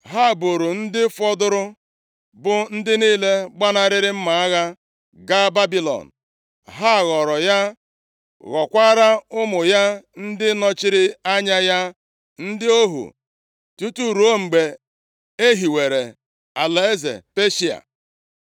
Ha buuru ndị fọdụrụ, bụ ndị niile gbanarịrị mma agha, gaa Babilọn, ha ghọrọ ya, ghọkwara ụmụ ya ndị nọchiri anya ya, ndị ohu, tutu ruo mgbe ehiwere alaeze Peshịa.